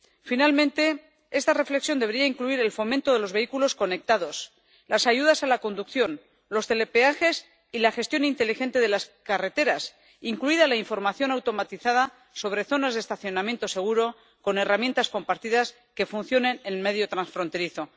Finalmente, esta reflexión debería incluir el fomento de los vehículos conectados, las ayudas a la conducción, los telepeajes y la gestión inteligente de las carreteras, incluida la información automatizada sobre zonas de estacionamiento seguro con herramientas compartidas que funcionen en el medio transfronterizo.